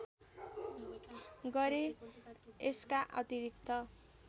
गरे यसका अतिरिक्त